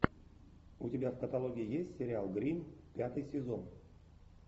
у тебя в каталоге есть сериал гримм пятый сезон